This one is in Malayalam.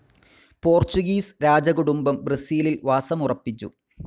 പോർച്ചുഗീസ് രാജകുടുംബം ബ്രസീലിൽ വാസമുറപ്പിച്ചു.